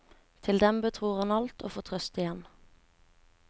Til den betror han alt og får trøst igjen.